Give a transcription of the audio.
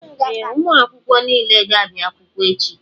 Ee, ụmụ akwụkwọ niile ga-abịa akwụkwọ echi.